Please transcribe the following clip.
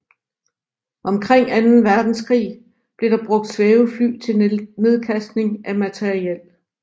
Omkring anden verdenskrig blev der brugt svævefly til nedkastning af materiel